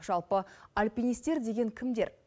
жалпы альпинистер деген кімдер